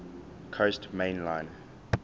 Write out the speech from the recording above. coast main line